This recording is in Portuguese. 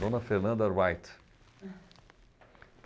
Dona Fernanda Wright.